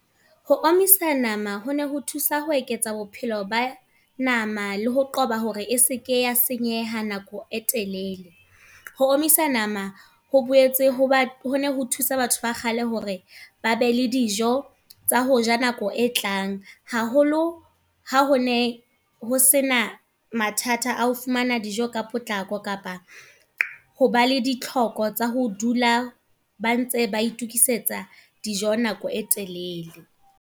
Ho omisa nama ho ne ho thusa ho eketsa bophelo ba nama, le ho qoba hore e seke ya senyeha nako e telele. Ho omisa nama, ho boetse ho ho thusa batho ba kgale hore ba be le dijo, tsa hoja nako e tlang. Haholo ha ho ne ho sena mathata ao fumana dijo ka potlako kapa, ho ba le ditlhoko tsa ho dula ba ntse ba itokisetsa dijo nako e telele.